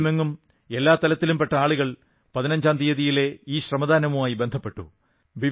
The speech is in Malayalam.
രാജ്യമെങ്ങും എല്ലാ തലത്തിലും പെട്ട ആളുകൾ പതിനഞ്ചാം തീയിതിയിലെ ഈ ശ്രമദാനവുമായി ബന്ധപ്പെട്ടു